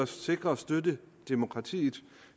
sikre støtten til demokratiet